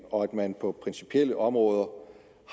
og at man på principielle områder